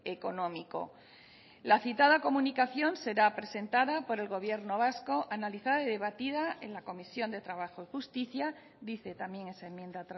económico la citada comunicación será presentada por el gobierno vasco analizada y debatida en la comisión de trabajo y justicia dice también esa enmienda